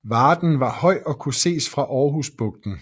Varden var høj og kunne ses fra Aarhus Bugten